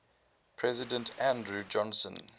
president andrew johnson